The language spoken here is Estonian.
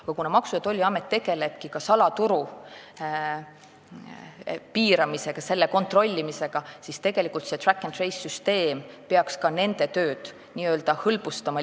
Aga kuna Maksu- ja Tolliamet tegeleb ka salaturu piiramisega, selle kontrollimisega, siis tegelikult see track and trace süsteem peaks nende tööd hõlbustama.